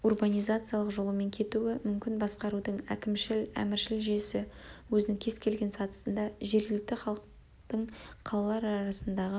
урбанизациялық жолымен кетуі мүмкін басқарудың әкімшіл-әміршіл жүйесі өзінің кез келген сатысында жергілікті халықтың қалалар арасындағы